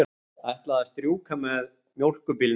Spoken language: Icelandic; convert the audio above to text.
Ætlaði að strjúka með mjólkurbílnum.